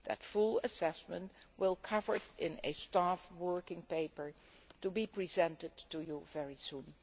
That full assessment will be covered in a staff working paper to be presented to you very soon.